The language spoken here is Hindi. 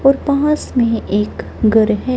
और पास में एक घर है।